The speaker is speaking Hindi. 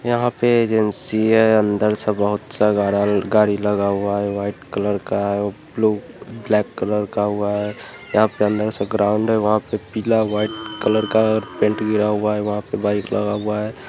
यहाँ पे एजेंसी है अंदर से बहुत-सा गार गाड़ी लगा हुआ है व्हाइट कलर का ब्लू ब्लैक कलर का हुआ है| यहाँ पे अंदर से ग्राउन्ड है वहाँ पे पीला व्हाइट कलर का पेंट गिरा हुआ है वहाँ पे बाइक लगा हुआ है।